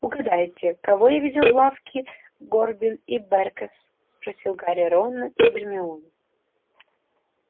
угадайте кого я видел в лавке горбин и бэркес спросил гарри рона и гермиону